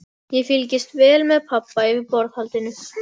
Ég fylgdist vel með pabba yfir borðhaldinu.